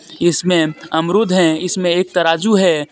इसमें अमरूद है इसमें एक तराजू है.